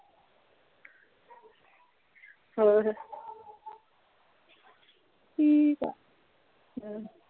ਹੋਰ ਠੀਕ ਆ ਹਮ